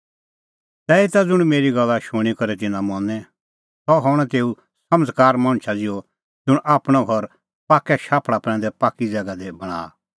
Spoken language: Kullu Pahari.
तैहीता ज़ुंण मेरी गल्ला शूणीं करै तिन्नां मनें सह हणअ तेऊ समझ़कार मणछा ज़िहअ ज़ुंण आपणअ घर पाक्कै शाफल़ा प्रैंदै पाक्की ज़ैगा दी बणांआ